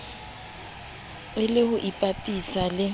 e le ho ipapisa le